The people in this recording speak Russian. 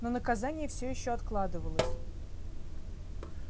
но наказание все ещё откладывалось